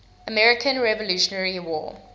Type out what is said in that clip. american revolutionary war